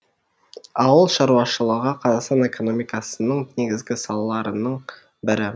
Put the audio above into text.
ауыл шаруашылығы қазақстан экономикасының негізгі салаларының бірі